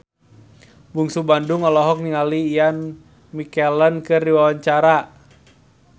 Bungsu Bandung olohok ningali Ian McKellen keur diwawancara